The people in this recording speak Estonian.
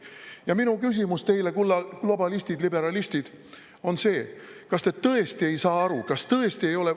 Ja minu küsimus teile, kulla globalistid, liberalistid, on see: kas te tõesti ei saa aru, kas tõesti ei ole …